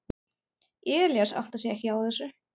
Elías áttar sig ekki á þessu.